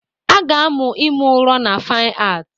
A ga-amụ ime ụrọ na Fine Art